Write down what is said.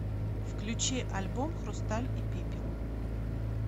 включи альбом хрусталь и пепел